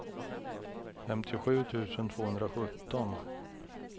femtiosju tusen tvåhundrasjutton